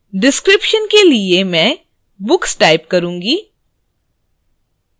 description के लिए मैं books type करुँगी